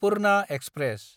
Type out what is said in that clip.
Purna express